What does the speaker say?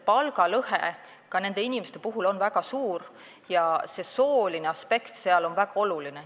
Palgalõhe on nendel inimestel väga suur ja sooline aspekt on seal väga oluline.